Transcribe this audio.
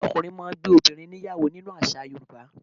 Ọkùnrin máà ń gbé obìrin níyàwó nínú àṣà Yorùbá